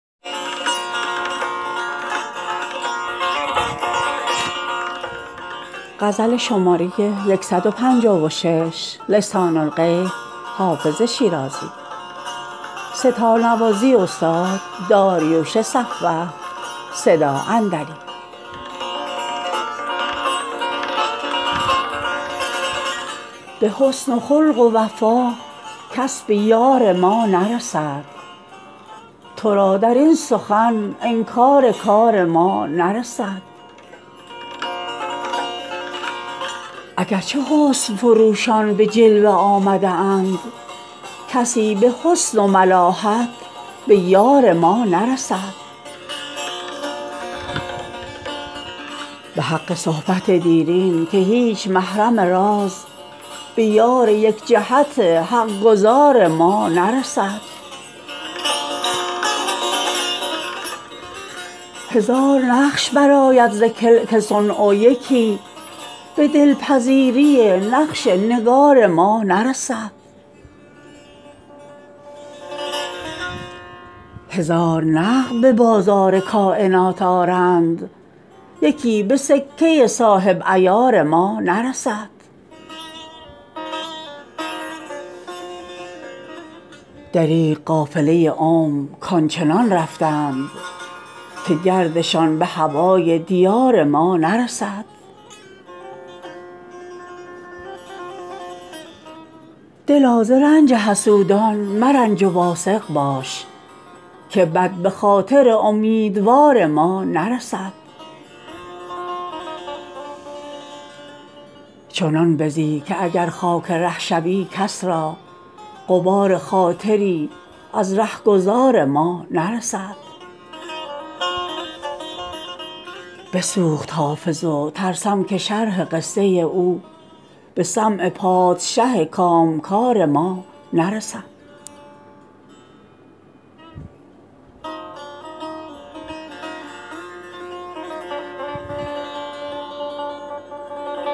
به حسن و خلق و وفا کس به یار ما نرسد تو را در این سخن انکار کار ما نرسد اگر چه حسن فروشان به جلوه آمده اند کسی به حسن و ملاحت به یار ما نرسد به حق صحبت دیرین که هیچ محرم راز به یار یک جهت حق گزار ما نرسد هزار نقش برآید ز کلک صنع و یکی به دل پذیری نقش نگار ما نرسد هزار نقد به بازار کاینات آرند یکی به سکه صاحب عیار ما نرسد دریغ قافله عمر کآن چنان رفتند که گردشان به هوای دیار ما نرسد دلا ز رنج حسودان مرنج و واثق باش که بد به خاطر امیدوار ما نرسد چنان بزی که اگر خاک ره شوی کس را غبار خاطری از ره گذار ما نرسد بسوخت حافظ و ترسم که شرح قصه او به سمع پادشه کام گار ما نرسد